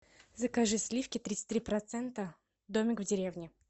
закажи сливки тридцать три процента домик в деревне